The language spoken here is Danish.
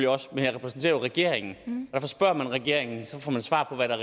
også men jeg repræsenterer regeringen spørger man regeringen får man svar på hvad der